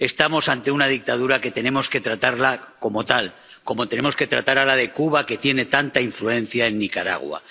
Estamos ante una dictadura que tenemos que tratar como tal, como tenemos que tratar a la de Cuba, que tiene tanta influencia en Nicaragua.